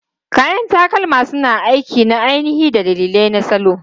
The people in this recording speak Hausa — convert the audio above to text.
Kayan takalma suna aiki na ainihi da dalilai na salo.